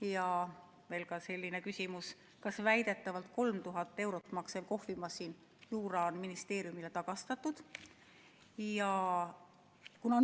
Ja veel selline küsimus: kas kohvimasin Jura, mis väidetavalt maksis 3000 eurot, on ministeeriumile tagastatud?